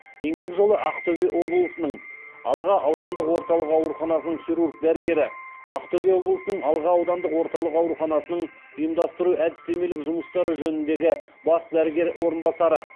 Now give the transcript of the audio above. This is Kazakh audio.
еңбек жолы ақтөбе облысының алға аудандық орталық ауруханасының хирург дәрігері ақтөбе облысының алға аудандық орталық ауруханасының ұйымдастыру әдістемелік жұмыстары жөніндегі бас дәрігер орынбасары